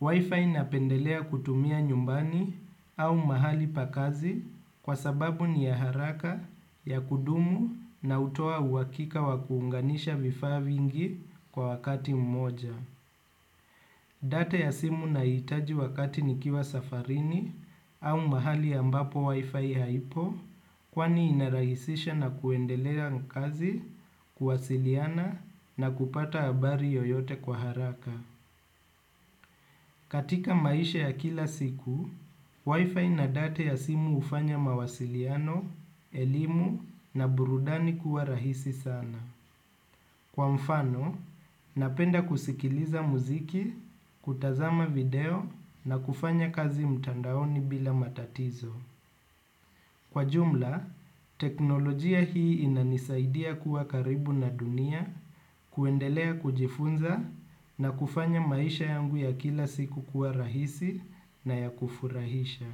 Wifi napendelea kutumia nyumbani au mahali pakazi kwa sababu ni ya haraka ya kudumu na utoa uwakika wa kuunganisha vifavingi kwa wakati mmoja. Data ya simu na hitaji wakati nikiwa safarini au mahali ambapo wifi haipo kwani inarahisisha na kuendelea nkazi, kuwasiliana na kupata abari yoyote kwa haraka. Katika maisha ya kila siku, wifi na data ya simu ufanya mawasiliano, elimu na burudani kuwa rahisi sana. Kwa mfano, napenda kusikiliza muziki, kutazama video na kufanya kazi mtandaoni bila matatizo. Kwa jumla, teknolojia hii inanisaidia kuwa karibu na dunia, kuendelea kujifunza na kufanya maisha yangu ya kila siku kuwa rahisi na ya kufurahisha.